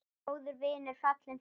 Góður vinur fallinn frá.